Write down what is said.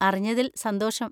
അറിഞ്ഞതിൽ സന്തോഷം.